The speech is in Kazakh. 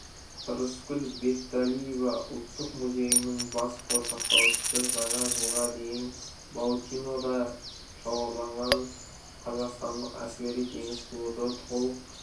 рыскүл бекталиева ұлттық музейінің бас қор сақтаушысы жаңа жылға дейін баутинода шоғырланған қазақстандық әскери-теңіз флоты толық